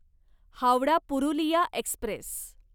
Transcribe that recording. Howrah Purulia Express